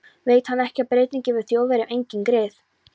Veit hann ekki að Bretinn gefur Þjóðverjum engin grið?